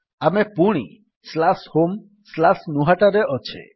ଆମେ ପୁଣି homegnuhataରେ ଅଛେ